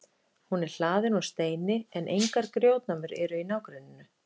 Hún er hlaðin úr steini en engar grjótnámur eru í nágrenninu.